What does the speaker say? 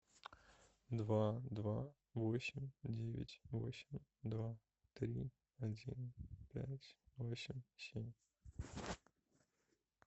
два два восемь девять восемь два три один пять восемь семь